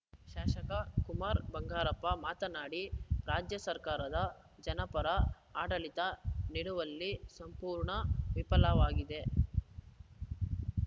ಶಾಸಕ ಕುಮಾರ್‌ ಬಂಗಾರಪ್ಪ ಮಾತನಾಡಿ ರಾಜ್ಯ ಸರ್ಕಾರದ ಜನಪರ ಆಡಳಿತ ನಿಡುವಲ್ಲಿ ಸಂಪೂರ್ಣ ವಿಫಲವಾಗಿದೆ